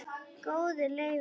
Góði Leifur minn,